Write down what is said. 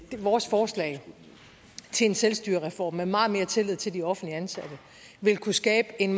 vores forslag til en selvstyrereform med meget mere tillid til de offentligt ansatte vil kunne skabe en